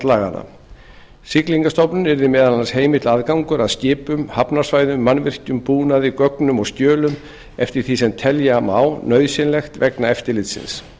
laganna siglingastofnun yrði meðal annars heimill aðgangur að skipum hafnarsvæðum mannvirkjum búnaði gögnum og skjölum eftir því sem telja má nauðsynlegt vegna eftirlitsins